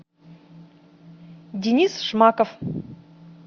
денис шмаков